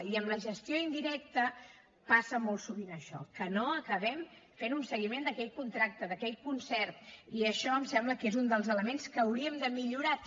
i amb la gestió indirecta passa molt sovint això que no acabem fent un seguiment d’aquell contracte d’aquell concert i això em sembla que és un dels elements que hauríem de millorar també